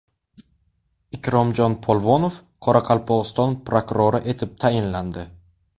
Ikromjon Polvonov Qoraqalpog‘iston prokurori etib tayinlandi.